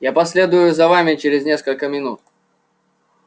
я последую за вами через несколько минут